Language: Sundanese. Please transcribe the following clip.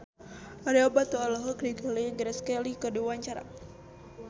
Ario Batu olohok ningali Grace Kelly keur diwawancara